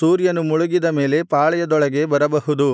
ಸೂರ್ಯನು ಮುಳುಗಿದ ಮೇಲೆ ಪಾಳೆಯದೊಳಗೆ ಬರಬಹುದು